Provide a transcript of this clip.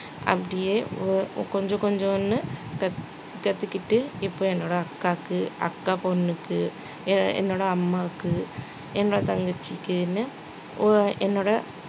அப்படியே ஒ~ கொஞ்சம் கொஞ்சம்னு கத்து கத்துக்கிட்டு இப்ப என்னோட அக்காவுக்கு அக்கா பொண்ணுக்கு எ~ என்னோட அம்மாவுக்கு என்னோட தங்கச்சிக்குன்னு ஒ~ என்னோட